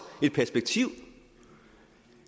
et perspektiv